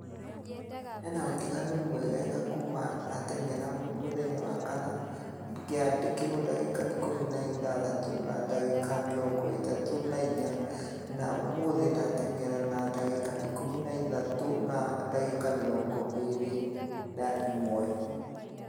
he na ũtiganu mwegega kuuma ndatengera mũthenya wa kana ngĩandikĩrwo dagĩka ikũmi na ithatũ na dagĩka mĩrongo ĩtatũ na inya nũ ũmũthi ndatengera na dagĩka ikũmi na ithatũ na dagĩka mirongo erĩ na ĩmwe